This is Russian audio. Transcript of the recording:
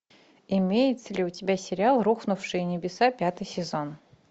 имеется ли у тебя сериал рухнувшие небеса пятый сезон